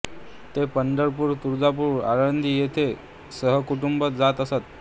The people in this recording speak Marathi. ते पंढरपूर तुळजापूर आळंदी येथे सहकुटुंब जात असतात